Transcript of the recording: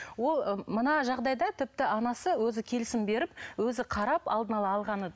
мына жағдайда тіпті анасы өзі келісімін беріп өзі қарап алдын ала алғаны